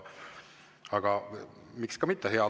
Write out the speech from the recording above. Aga miks ka mitte.